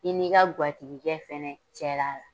I n'i ka gwatigikɛ fɛnɛ cɛla la.